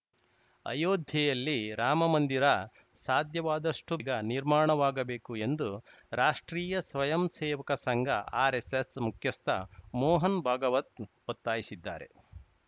ಅಯೋಧ್ಯೆಯಲ್ಲಿ ರಾಮ ಮಂದಿರ ಸಾಧ್ಯವಾದಷ್ಟುಗ ನಿರ್ಮಾಣವಾಗಬೇಕು ಎಂದು ರಾಷ್ಟ್ರೀಯ ಸ್ವಯಂಸೇವಕ ಸಂಘಆರೆಸ್ಸೆಸ್‌ ಮುಖ್ಯಸ್ಥ ಮೋಹನ್‌ ಭಾಗವತ್‌ ಒತ್ತಾಯಿಸಿದ್ದಾರೆ